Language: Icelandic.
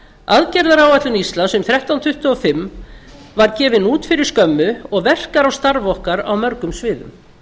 aðgerðaáætlun íslands um þrettán hundruð tuttugu og fimm var gefin út fyrir skömmu og verkar á starf okkar á mörgum sviðum